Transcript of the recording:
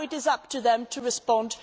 Now it is up to them to respond.